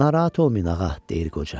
Narahat olmayın ağa, deyir qoca.